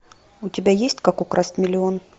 у тебя есть как украсть миллион